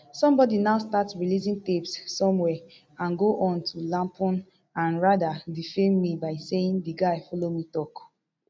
somebody now start releasing tapes somewhere and go on to lampoon and rather defame me by saying di guy follow me tok